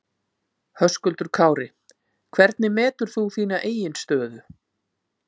Höskuldur Kári: Hvernig metur þú þína eigin stöðu?